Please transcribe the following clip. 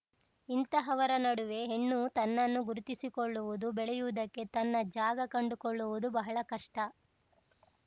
ಇಂತಹವರ ನಡುವೆ ಹೆಣ್ಣು ತನ್ನನ್ನು ಗುರುತಿಸಿಕೊಳ್ಳುವುದು ಬೆಳೆಯುವುದಕ್ಕೆ ತನ್ನ ಜಾಗ ಕಂಡುಕೊಳ್ಳುವುದು ಬಹಳ ಕಷ್ಟ